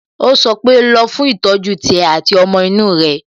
Ó sọ pé "Lọ fún ìtọ́jú tiẹ̀ àti ti ọmọ inú rẹ"